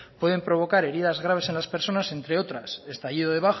pueden provocar heridas graves a las personas entre otras estallido de